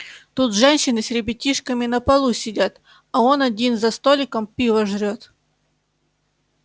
тут женщины с ребятишками на полу сидят а он один за столиком пиво жрёт